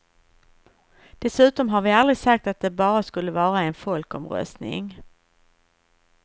Dessutom har vi aldrig sagt att det bara skulle vara en folkomröstning.